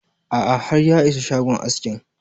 A'a har ya isa shagon askin